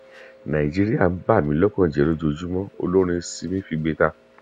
nàìjíríà ń bà mí lọkàn jẹ lójoojúmọ olórin simi figbe ta